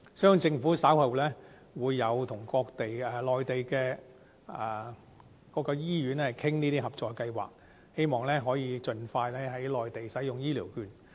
相信政府稍後會與內地的各間醫院商討合作計劃，希望可以盡快在內地使用醫療券。